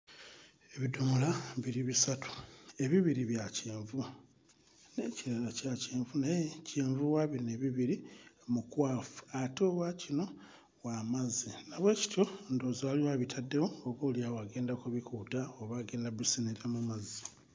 Ebidomola biri bisatu. Ebibiri bya kyenvu. N'ekirala kya kyenvu naye kyenvu wa bino ebibiri mukwafu ate owa kino w'amazzi na bwekityo ndowooza waliwo abitaddewo oboolyawo agenda kubikuuta oba agenda kubiseneramu mazzi.